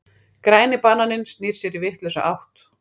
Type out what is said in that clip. Græni bananinn snýr sér í vitlausa átt.